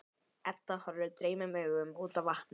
Edda horfir dreymnum augum út á vatnið.